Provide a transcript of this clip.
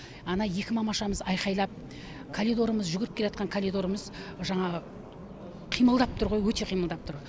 ана екі мамашамыз айқайлап калидорымыз жүгіріп келатқан калидорымыз жаңағы қимылдап тұр ғой өте қимылдап тұр